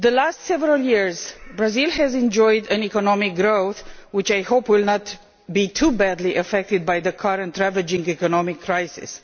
For several years, Brazil has enjoyed an economic growth which I hope will not be too badly affected by the current ravaging economic crisis.